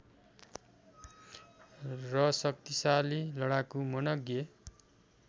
र शक्तिशाली लडाकु मनग्ये